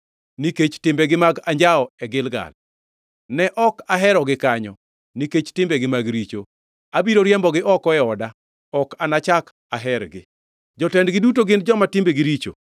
“Nikech timbegi mag anjawo e Gilgal, ne ok aherogi kanyo. Nikech timbegi mag richo, abiro riembgi oko e oda. Ok anachak ahergi; jotendgi duto gin joma timbegi richo.